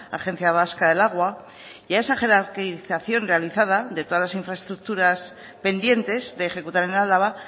agencia vasca del agua y esa jerarquización realizada de todas las infraestructuras pendientes de ejecutar en álava